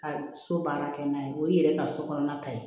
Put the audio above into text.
Ka so baara kɛ n'a ye o y'i yɛrɛ ka so kɔnɔna ta ye